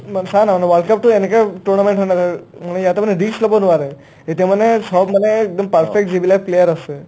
চা না না world cupটো এনেকা tournament হয় না মানে ইয়াত এটা মানে risk ল'ব নোৱাৰে এতিয়া মানে চব মানে একদম perfect যিবিলাক player আছে